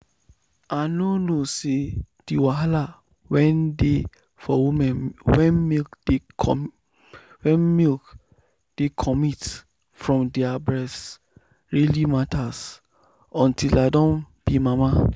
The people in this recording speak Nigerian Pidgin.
i nor know say the wahala wen dey for women wen milk dey comit from their breast really matter until i doh be mama.